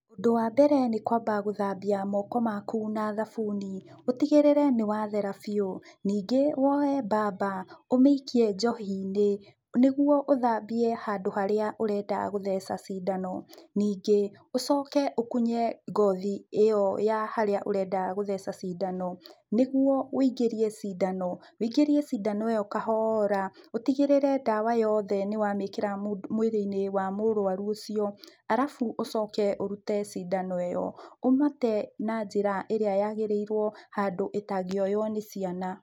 Ũndũ wa mbere nĩ kwamba gũthambia moko maku na thabuni, ũtigĩrĩre nĩ wathera biũ, ningĩ woye mbamba ũmĩikie njohi-inĩ nĩguo ũthambie handũ harĩa ũrenda gũtheca cindano. Ningĩ ũcoke ũkunye ngothi ĩ yo ya harĩa ũrenda gũtheca cindano nĩguo wĩingĩrie cindano, wĩingĩrie cindano kahohora ũtigĩrĩre ndawa yoothe nĩ wamĩkĩra mwĩrĩ-inĩ wa mũrũaru ũcio arabu ũcoke ũrũte cindano ĩyo ũmĩte na njĩra ĩrĩa nyagĩrĩirwo handũ ĩtangĩoywo nĩ ciana.